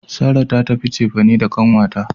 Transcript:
Sarah ta tafi cefane da kanwata.